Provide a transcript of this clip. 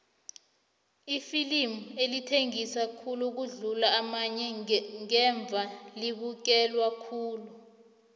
iflimu elithengisa khulu ukudlula amanye ngevane libukelwe khulu